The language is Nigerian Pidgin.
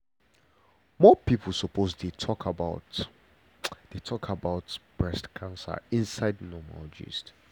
more people suppose dey talk about dey talk about breast cancer inside normal gist.